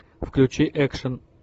включи экшн